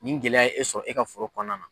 Ni gɛlɛya ye e sɔrɔ e ka foro kɔnɔna na.